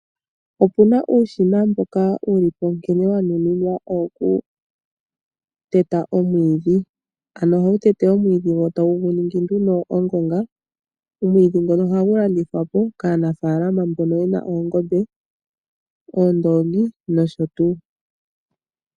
Opuna uushina mboka wuli po nkene wa nuninwa owoku teta omwiidhi. Ano ohawu tete omwiidhi wo tawu gu ningi nduno ongonga. Omwiidhi ngoka ohagu landithwa po kaanafaalama mboka yena oongombe, oondoongi, nosho tuu.